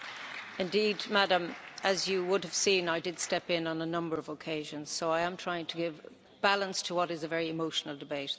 Indeed, Madam, as you will have seen, I did step in on a number of occasions so I am trying to give balance to what is a very emotional debate.